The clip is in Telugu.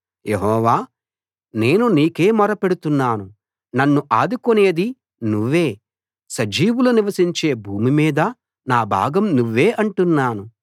యెహోవా నేను నీకే మొరపెడుతున్నాను నన్ను ఆదుకునేది నువ్వే సజీవులు నివసించే భూమి మీద నా భాగం నువ్వే అంటున్నాను